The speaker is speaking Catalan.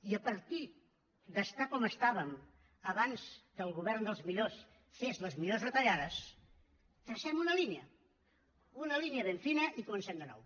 i a partir d’estar com estàvem abans que el govern dels millors fes les millors retallades tracem una línia una línia ben fina i comencem de nou